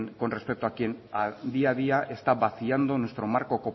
con respecto a quien a día día está vaciando nuestro marco